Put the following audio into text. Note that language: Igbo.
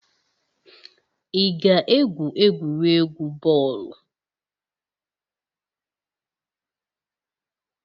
Ị ga-egwu egwuregwu bọọlụ.